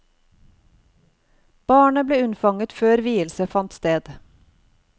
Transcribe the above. Barnet ble unnfanget før vielse fant sted.